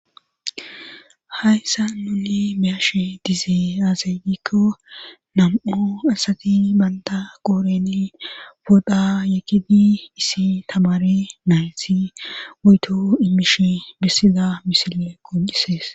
hayssa nune meyashe dizee aazaydikko nam7o asati balda goorene bodha yekidi isi tamare nayti goyto imish bessiza misile qocisees